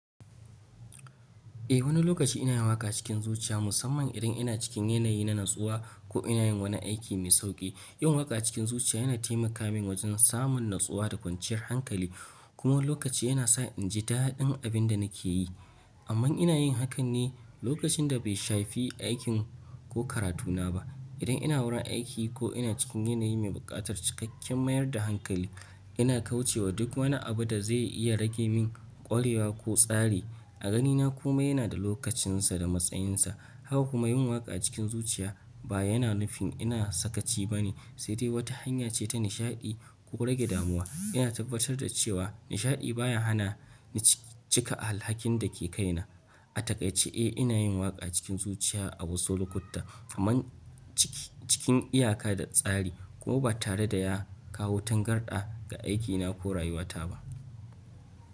Eh, wani lokaci ina yin waƙa cikin zuciya, musamman idan ina cikin yanayi na natsuwa ko ina yin wani aiki mai sauƙi. Yin waƙa cikin zuciya yana taimaka min wajen samun natsuwa da kwanciyar hankali kuma lokaci yana sa inji daɗin abin da nake yi. Amma ina yin hakan ne lokacin da bai shafi aikin ko karatuna ba. Idan ina wurin aiki ko ina cikin yanayi mai buƙatar cikakken mayar da hankali, ina kauce wa duk wani abu da zai iya rage min ƙwarewa ko tsari. A ganina kuma yana da lokacinsa da matsayinsa. Haka kuma yin waƙa cikin zuciya ba yana nufin ina sakaci bane, saidai wata hanya ce ta nishaɗi ko rage damuwa. Ina tabbatar da cewa nishaɗi baya hana ni cika alhakin da ke kaina. A takaice, eh, ina yin waƙa cikin zuciya a wasu lokuta, kamar cikin iyaka da tsari kuma ba tare da ya kawo tangarɗa ga aikina ko rayuwata ba.